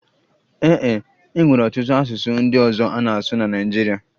Ee e, e nwere ọtụtụ asụsụ ndị ọzọ a na-asụ na Naịjirịa